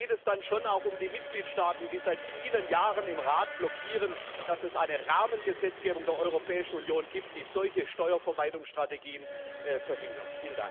Da geht es dann schon auch um die Mitgliedstaaten, die seit vielen Jahren im Rat blockieren, dass es eine Rahmengesetzgebung der Europäischen Union gibt, die solche Steuervermeidungsstrategien verhindert.